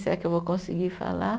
Será que eu vou conseguir falar?